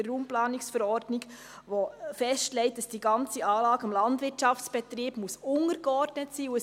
RPV, der festlegt, dass die ganze Anlage dem Landwirtschaftsbetrieb untergeordnet sein muss.